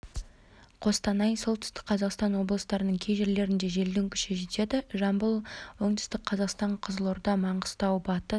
қостанай солтүстік қазақстан облыстарының кей жерлерінде желдің күші жетеді жамбыл оңтүстік қазақстан қызылорда маңғыстау батыс